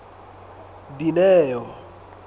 dineo